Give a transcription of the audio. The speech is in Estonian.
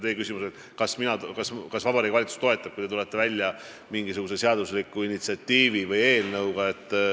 Teie küsimus oli, kas Vabariigi Valitsus toetab, kui te tulete välja mingisuguse seadusliku initsiatiivi või eelnõuga.